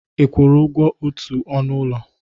Ị kwụrụ ụgwọ otu ọnụ ụlọ?